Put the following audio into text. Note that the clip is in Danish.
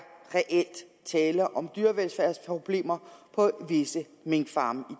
tale om dyrevelfærdsproblemer på visse minkfarme i